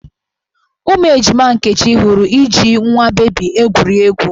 Ụmụ ejima Nkechi hụrụ iji nwa bebi egwuri egwu.